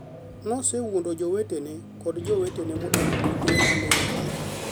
ne osewuondo jowetene kod jowetene modak bute ma ne oyie.